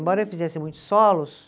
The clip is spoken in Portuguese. Embora eu fizesse muitos solos,